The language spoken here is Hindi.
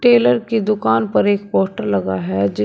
टेलर की दुकान पर एक पोस्टर लगा है जिस--